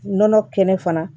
Nɔnɔ kɛnɛ fana